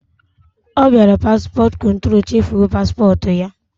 Ọ biara paspọt kụntrol, chefuo paspọt ya!